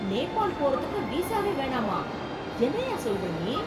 நேபால் போறதுக்கு விசாவே வேணாமா!? என்னய்யா சொல்லுற நீ?